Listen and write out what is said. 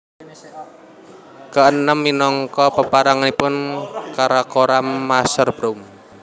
K enem minangka peranganipun karakoram Masherbrum